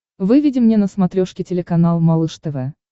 выведи мне на смотрешке телеканал малыш тв